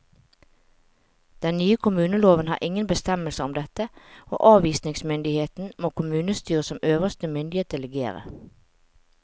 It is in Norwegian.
Den nye kommuneloven har ingen bestemmelser om dette, og anvisningsmyndigheten må kommunestyret som øverste myndighet delegere.